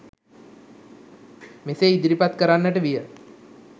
මෙසේ ඉදිරිපත් කරන්නට විය